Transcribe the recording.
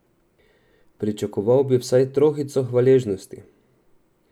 Pričakoval bi vsaj trohico hvaležnosti.